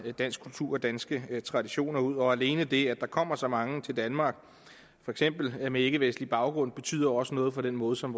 dansk kultur og danske traditioner ud og alene det at der kommer så mange til danmark for eksempel med ikkevestlig baggrund betyder også noget for den måde som